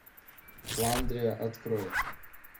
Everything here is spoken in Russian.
фландрия открой